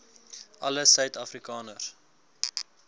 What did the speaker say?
alle suid afrikaners